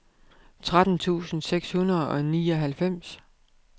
tretten tusind seks hundrede og nioghalvfems